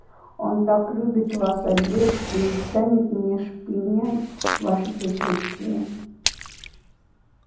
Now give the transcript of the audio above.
он так любит вас обеих что не станет меня шпынять в вашем присутствии